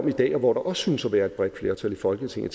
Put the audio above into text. i dag og hvor der også synes at være et bredt flertal i folketinget